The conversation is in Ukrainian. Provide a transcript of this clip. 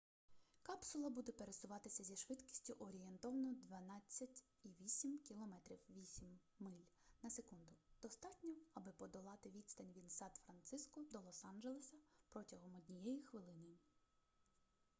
капсула буде пересуватися зі швидкістю орієнтовно 12,8 км 8 миль на секунду – достатньо аби подолати відстань від сан-франциско до лос-анджелеса протягом однієї хвилини